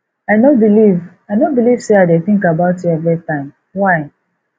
i no believe i no believe say i dey think about you every time why